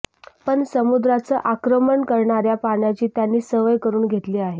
पण समुद्राचं आक्रमण करणाऱ्या पाण्याची त्यांनी सवय करून घेतली आहे